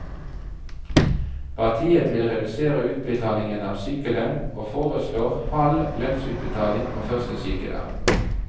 Partiet vil redusere utbetalingene av sykelønn, og foreslår halv lønnsutbetaling på første sykedag.